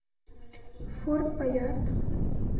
форт боярд